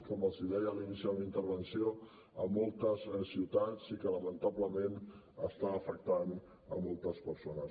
com els deia a l’inici de la meva intervenció a moltes ciutats i que lamentablement està afectant a moltes persones